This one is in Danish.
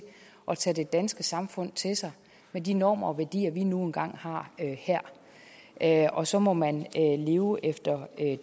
at tage det danske samfund til sig med de normer og værdier vi nu engang har her og så må man leve efter